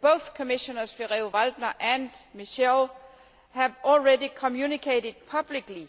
Both Commissioners Ferrero Waldner and Michel have already communicated publicly